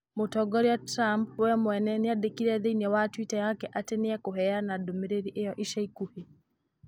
Mũtongoria Trump we mwene nĩandĩkire thĩinĩ wa twitter yake atĩ nĩ ekũheana ndũmĩrĩri ĩyo ica ikuhĩ.